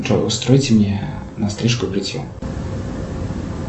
джой устройте мне на стрижку и бритье